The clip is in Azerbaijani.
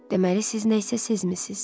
Deməli siz nəyisə sezmisiz?